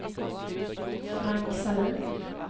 Frank Sahlin